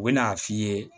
U bɛ n'a f'i ye